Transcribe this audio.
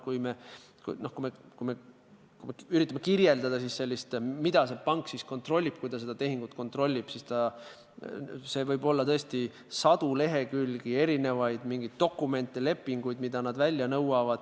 Kui üritame kirjeldada, mida pank kontrollib, kui ta konkreetset tehingut kontrollib, siis see loetelu võib hõlmata sadu lehekülgi erisuguseid dokumente, lepinguid, mida pank välja nõuab.